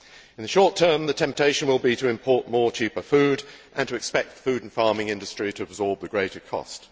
In the short term, the temptation will be to import cheaper food and to expect the food and farming industry to absorb the greater cost.